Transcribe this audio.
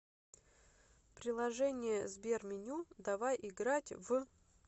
приложение сберменю давай играть в